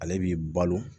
Ale b'i balo